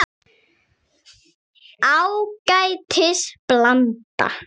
Ágætis blanda.